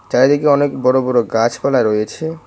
চারিদিকে অনেক বড় বড় গাছপালা রয়েছে।